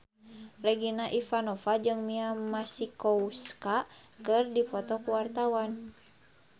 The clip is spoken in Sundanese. Regina Ivanova jeung Mia Masikowska keur dipoto ku wartawan